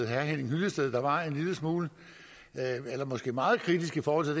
henning hyllested der var en lille smule eller måske meget kritisk i forhold